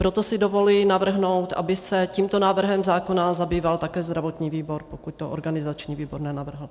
Proto si dovoluji navrhnout, aby se tímto návrhem zákona zabýval také zdravotní výbor, pokud to organizační výbor nenavrhl.